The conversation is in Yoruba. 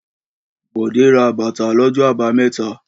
Bọ̀dé ra bàtà lọ́jọ́ àbámẹ́ta.